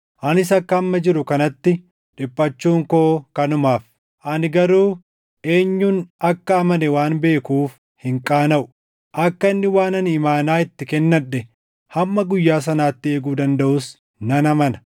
Anis akka amma jiru kanatti dhiphachuun koo kanumaaf. Ani garuu eenyun akka amane waan beekuuf hin qaanaʼu; akka inni waan ani imaanaa itti kennadhe hamma guyyaa sanaatti eeguu dandaʼus nan amana.